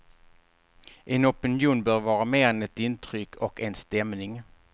En opinion bör vara mer än ett intryck och en stämning.